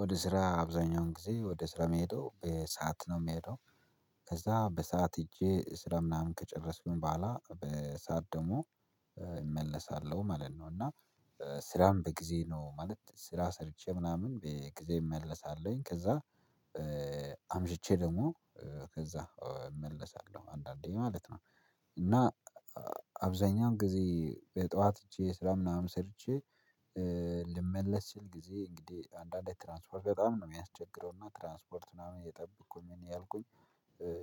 ወደ ስራ አብዛኛውን ጊዜ ወደ ስራ መሄዱ በሰአት ነው የምሄደው። ከዛ በሰአት ሄጄ ስራ ምናምን ከጨረስኩኝ በኋላ በሰአት ደግሞ እመለሳለሁ ማለት ነው። እና ስራም በጊዜ ነው ማለት ስራ ሰርቼ ምናምን በጊዜ እመለሳለሁኝ ከዛ አምሽቼ ደግሞ ከዛ እመለሳለሁ አንዳንዴ ማለት ነው። እና አብዛኛውን ጊዜ የጠዋት ይቺ የስራ ምናምን ሰርቼ ልመለስ ችል ጊዜ እንግዲህ አንዳንዴ ትራንስፖርት በጣም ነው የሚያስቸግረው እና ትራንስፖርት ምናምን እየጠበኩኝ ምን እያልኩኝ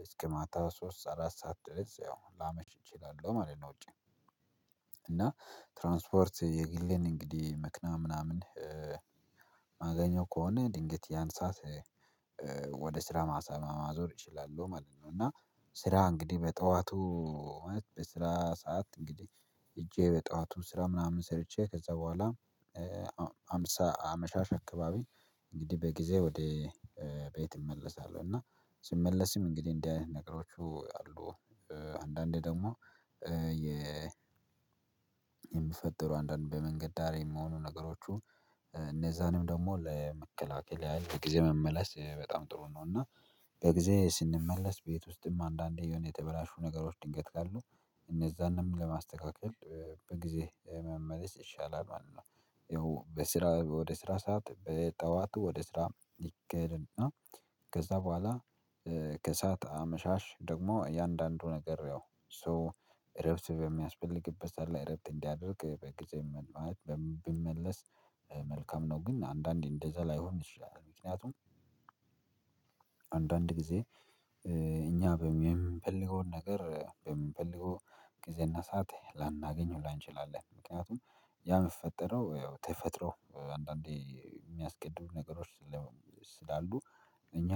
እስከ ማታ ሶስት አራት ሰዓት ድረስ ያው ላመች እችላለሁ ማለት ነው። ውጪ እና ትራንስፖርት የጊሌን እንግዲህ ምክንያት ምናምን ማገኘው ከሆነ ድንገት ያንሳት ወደ ስራ ማሰማ ማዞር ይችላሉ ማለት ነው። እና ስራ እንግዲህ በጠዋቱ በስራ ሰዓት እንግዲህ ሄጄ በጠዋቱ ስራ ምናምን ሰርቼ ከዛ በኋላ ሃምሳ አመሻሽ አካባቢ እንግዲህ በጊዜ ወደ ቤት እመለሳለሁ እና ስመለስም እንግዲህ እንዲህ ነገሮቹ አሉ። አንዳንዴ ደግሞ የምፈጥሩ አንዳንዴ በመንገድ ዳሬ የምሆኑ ነገሮቹ እነዛንም ደግሞ ለመከላከል ያህል በጊዜ መመለስ በጣም ጥሩ ነው። እና በጊዜ ስንመለስ ቤት ውስጥም አንዳንዴ የተበላሹ ነገሮች ድንገት ካሉ እነዛንም ለማስተካከል በጊዜ መመለስ ይሻላል ማለት ነው። ይኸው በስራ ወደ ስራ ሰዓት በጠዋቱ ወደ ስራ ይከልና ከዛ በኋላ ከእሳት አመሻሽ ደግሞ እያንዳንዱ ነገር ያው ሶ ረፍት በሚያስፈልግበት ሰዓት ላይ ረብስ እንዲያደርግ በጊዜም ማለት ቢመለስ መልካም ነው። ግን አንዳንዴ እንደዛ ላይሆን ይሻላል ምክንያቱም አንዳንድ ጊዜ እኛ በምንፈልገው ነገር በምንፈልገው ጊዜ እናሳት ላናገኘው ላንችላለን ምክንያቱም ያ የምትፈጠረው ያው ተፈጥሮ አንዳንዴ የሚያስቀድሙ ነገሮች ስላሉ እኛ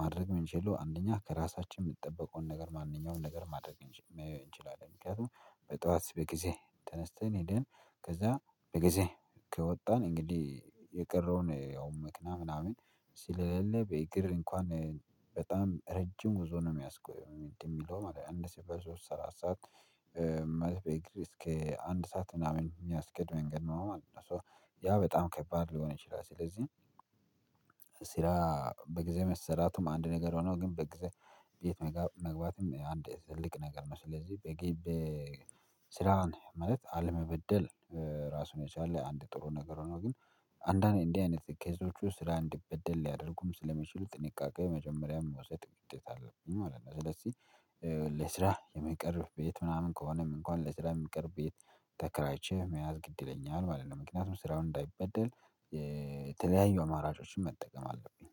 ማድረግ መንችል አንደኛ ከራሳችን የምትጠብቀውን ነገር ማንኛውንም ነገር ማድረግ መያየው እንችላለን። ምክንያቱም በጠዋት በጊዜ ተነስተን ሄደን ከዛ በጊዜ ከወጣን እንግዲህ የቀረውን ያው ምክንያት ምናምን ስለሌለ በእግር እንኳን በጣም ረጅም ጉዞ ነው የሚያስቆየው ምንድነው የሚለው አንድ ሲበዙ ሰላሳ ሰዓት መልበ እግር እስከ አንድ ሰዓት ምናምን የሚያስገድ መንገድ ነው ማለት ነው። ሶ ያ በጣም ከባድ ሊሆን ይችላል። ስለዚህ ሲራ በጊዜ መሰራቱም አንድ ነገር ሆኖ ግን በጊዜ በየት መግባትም አንድ የተዘለቀ ነገር ነው። ስለዚህ በግብ ስራን ማለት አለመበደል ራሱን የቻለ አንድ ጥሩ ነገር ሆኖ ግን አንዳንዴ እንዲህ አይነት ኬዞቹ ስራ እንዲበደል ሊያደርጉም ስለሚችሉ ጥንቃቄ መጀመሪያም ውሰጥ ግጤት አለብኝ ማለት ነው። ስለዚህ ለስራ የመቅረብ ቤት ምናምን ከሆነም እንኳን ለስራ የሚቅር ቤት ተከራይቼ መያዝ ግድ ይለኛል ማለት ነው። ምክንያቱም ስራውን እንዳይበደል የተለያዩ አማራጮችን መጠቀም አለብኝ